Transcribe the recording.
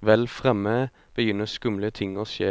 Vel fremme begynner skumle ting å skje,